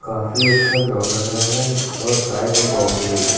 काफी अच्छा ग्राउंड लग रहा है और साइड में बाउंड्री है।